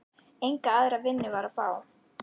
Enga aðra vinnu var að fá.